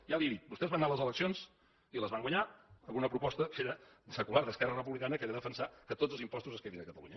ja li ho he dit vostès van anar a les eleccions i les van guanyar amb una proposta secular d’esquerra republicana que era defensar que tots els impostos es quedin a catalunya